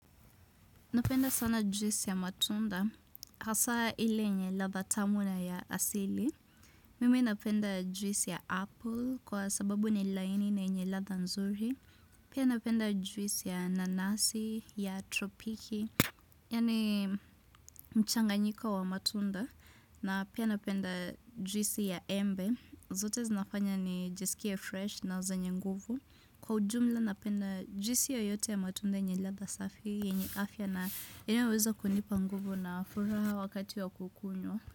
Napenda sana juice ya matunda, hasa ile yenye latha tamu na ya asili. Mimi napenda juice ya apple kwa sababu ni laini na yenye latha nzuri. Pia napenda juice ya nanasi, ya tropiki, yani mchanganyiko wa matunda. Na pia napenda juice ya embe, zote zinafanya ni jisikie fresh na zenye nguvu. Kwa ujumla na penda juisi yo yote ya matunda yenye ladha safi yenye afya na inayoweza kunipa nguvu na furaha wakati ya kukunywa.